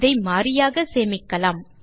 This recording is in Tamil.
இதை மாறியாக சேமிக்கலாம்